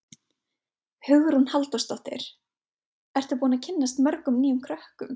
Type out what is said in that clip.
Hugrún Halldórsdóttir: Ertu búinn að kynnast mörgum nýjum krökkum?